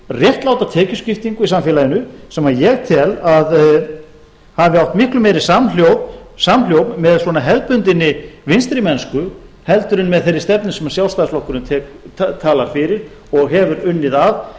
réttláta tekjuskiptingu í samfélaginu sem ég tel að hafi átt miklu meiri samhljóm með hefðbundinni vinstri mennsku heldur en með þeirri stefnu sem sjálfstæðisflokkurinn talar fyrir og hefur unnið að